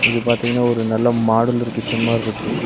இது பாத்திங்ன்னா ஒரு நல்ல மாடுலர் கிச்சன் மாரிருக்கு.